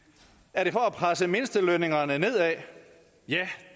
er det for at presse mindstelønningerne nedad ja